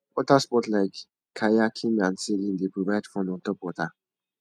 water sports like kayaking and sailing dey provide fun on top water